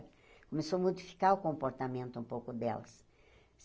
Começou a modificar o comportamento um pouco delas.